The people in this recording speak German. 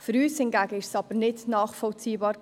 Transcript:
Für uns hingegen war es nicht nachvollziehbar.